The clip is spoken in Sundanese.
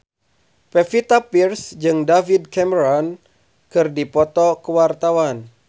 Pevita Pearce jeung David Cameron keur dipoto ku wartawan